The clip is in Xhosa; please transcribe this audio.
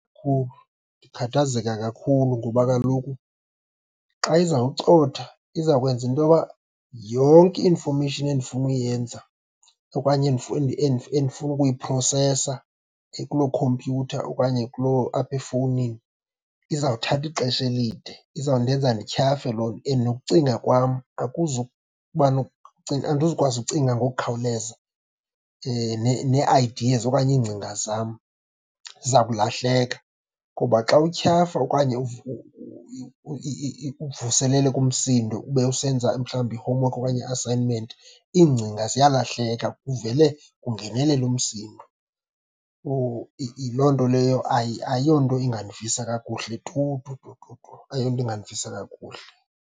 Ndikhathazeka kakhulu, ngoba kaloku xa izawucothoza izawukwenza into yoba yonke i-information endifuna uyenza okanye endifuna ukuyiphrosesa kuloo khompyutha okanye kuloo apha efowunini, izawuthatha ixesha elide, izawundenza ndityhafe loo nto. And nokucinga kwam , andizukwazi ukucinga ngokukhawuleza, nee-ideas okanye iingcinga zam ziza kulahleka. Kuba xa utyhafa okanye uvuseleleka umsindo ube usenza mhlawumbi i-homework okanye i-assignment, iingcinga ziyalahleka kuvele kungenelele umsindo. Loo nto leyo ayonto ingandivisa kakuhle tu, tu, tu, tu, tu, ayonto ingandivisa kakuhle.